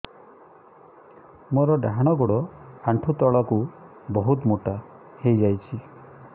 ମୋର ଡାହାଣ ଗୋଡ଼ ଆଣ୍ଠୁ ତଳକୁ ବହୁତ ମୋଟା ହେଇଯାଉଛି